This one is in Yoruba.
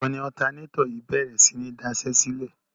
Ìgbà wo ni ọ̀tanátọ̀ yìí bèrè sí ní daṣẹ́sílẹ̀?